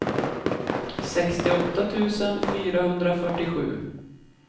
sextioåtta tusen fyrahundrafyrtiosju